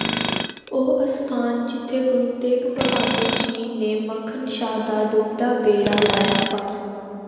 ਉਹ ਅਸਥਾਨ ਜਿਥੇ ਗੁਰੂ ਤੇਗ ਬਹਾਦੁਰ ਜੀ ਨੇ ਮੱਖਣ ਸ਼ਾਹ ਦਾ ਡੁਬਦਾ ਬੇੜਾ ਲਾਇਆ ਪਾਰ